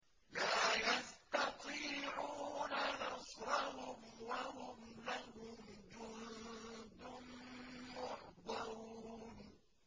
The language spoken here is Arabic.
لَا يَسْتَطِيعُونَ نَصْرَهُمْ وَهُمْ لَهُمْ جُندٌ مُّحْضَرُونَ